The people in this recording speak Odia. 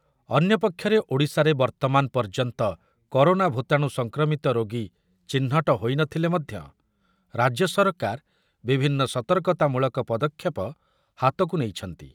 ଅନ୍ୟପକ୍ଷରେ ଓଡ଼ିଶାରେ ବର୍ତ୍ତମାନ ପର୍ଯ୍ୟନ୍ତ କରୋନା ଭୂତାଣୁ ସଂକ୍ରମିତ ରୋଗୀ ଚିହ୍ନଟ ହୋଇନଥିଲେ ମଧ୍ୟ ରାଜ୍ୟ ସରକାର ବିଭିନ୍ନ ସତର୍କତାମୂଳକ ପଦକ୍ଷେପ ହାତକୁ ନେଇଛନ୍ତି ।